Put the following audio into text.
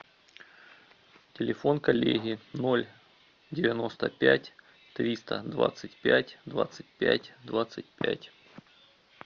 телефон коллеги ноль девяносто пять триста двадцать пять двадцать пять двадцать пять